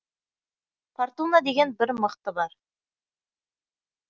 фортуна деген бір мықты бар